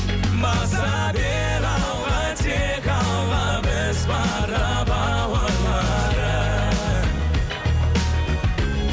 баса бер алға тек алла біз бара бауырларым